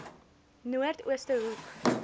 noord ooste hoek